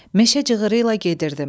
Meşə cığırı ilə gedirdim.